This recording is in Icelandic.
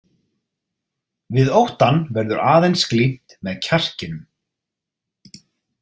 Við óttann verður aðeins glímt með kjarkinum.